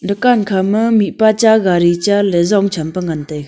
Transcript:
dukan khama gari cha mihpa cha ley zong ngan tai ga.